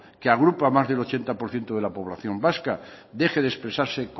que agrupa a más del ochenta por ciento de la población vasca deje de expresarse